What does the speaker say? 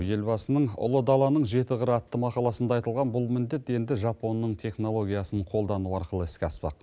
елбасының ұлы даланың жеті қыры атты мақаласында айтылған бұл міндет енді жапонның технологиясын қолдану арқылы іске аспақ